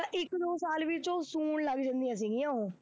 ਤਾਂ ਇੱਕ ਦੋ ਸਾਲ ਵਿੱਚ ਉਹ ਸੂਣ ਲੱਗ ਜਾਂਦੀਆਂ ਸੀਗੀਆਂ ਉਹ